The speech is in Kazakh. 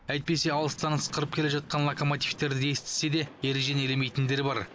әйтпесе алыстан ысқырып келе жатқан локомотивтерді естісе де ережені елемейтіндер бар